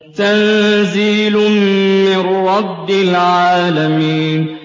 تَنزِيلٌ مِّن رَّبِّ الْعَالَمِينَ